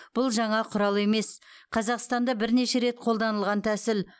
бұл жаңа құрал емес қазақстанда бірнеше рет қолданылған тәсіл